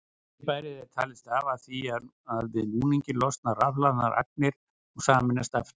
Fyrirbærið er talið stafa af því að við núninginn losna rafhlaðnar agnir og sameinast aftur.